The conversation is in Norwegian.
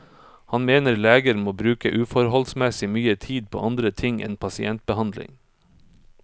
Han mener leger må bruke uforholdsmessig mye tid på andre ting enn pasientbehandling.